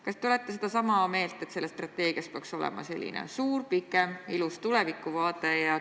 Kas te olete sedasama meelt, et selles strateegias peaks olema selline pikem ilus tulevikuvaade?